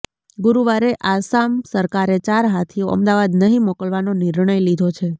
ગુરુવારે આસામ સરકારે ચાર હાથીઓ અમદાવાદ નહીં મોકલવાનો નિર્ણય લીધો છે